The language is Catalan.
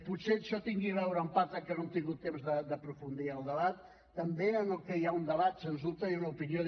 potser això té a veure en part amb que no hem tingut temps d’aprofundir en el debat i també amb el que hi ha un debat sens dubte i una opinió